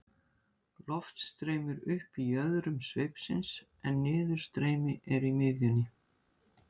loft streymir upp í jöðrum sveipsins en niðurstreymi er í miðjunni